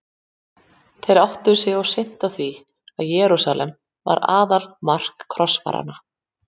Þeir áttuðu sig of seint á því að Jerúsalem var aðaltakmark krossfaranna.